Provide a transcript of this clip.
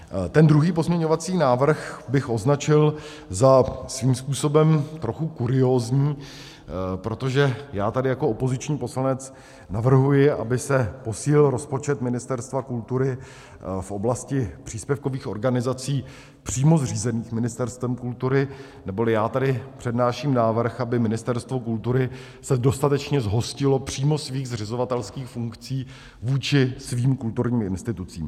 Ten druhý pozměňovací návrh bych označil za svým způsobem trochu kuriózní, protože já tady jako opoziční poslanec navrhuji, aby se posílil rozpočet Ministerstva kultury v oblasti příspěvkových organizací přímo zřízených Ministerstvem kultury, neboli já tady přednáším návrh, aby Ministerstvo kultury se dostatečně zhostilo přímo svých zřizovatelských funkcí vůči svým kulturním institucím.